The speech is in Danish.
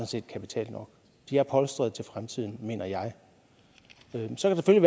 set kapital nok de er polstrede til fremtiden mener jeg så kan